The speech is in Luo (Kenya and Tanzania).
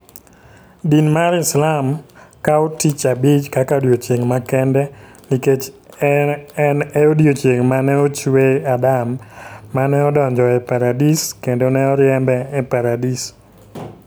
Din mar Islam kawo Tich Abich kaka odiechieng' makende nikech en e odiechieng' ma ne ochwe Adam, ma ne odonjo e Paradis, kendo ne oriembe e Paradis.